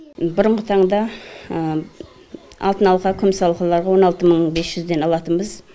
бұрынғы таңда алтын алқа күміс алқыларға он алты мың бес жүзден алатынбыз